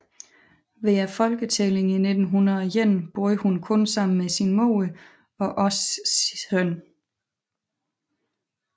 Ved Folketællingen i 1901 boede hun kun sammen med sin mor og også søn